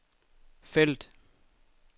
felt